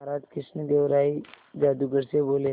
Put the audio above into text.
महाराज कृष्णदेव राय जादूगर से बोले